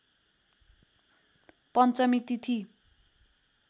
पञ्चमी तिथि